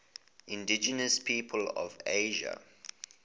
indigenous peoples of asia